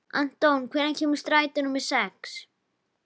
Anton, hvenær kemur strætó númer sex?